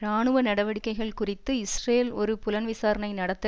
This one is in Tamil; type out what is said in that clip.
இராணுவ நடவடிக்கைகள் குறித்து இஸ்ரேல் ஒரு புலன்விசாரணை நடத்த